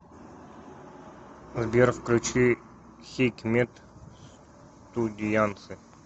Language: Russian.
сбер включи хикмет студиянсы